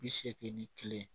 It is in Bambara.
Bi seegin ni kelen